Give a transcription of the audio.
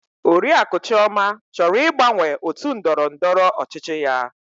Oriakụ Chioma chọrọ ịgbanwe otu ndọrọ ndọrọ ọchịchị ya.